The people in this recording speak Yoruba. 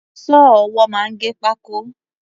Sọ́ọ̀ ọwọ́ máa ń gé pákó.